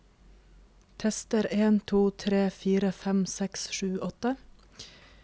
Tester en to tre fire fem seks sju åtte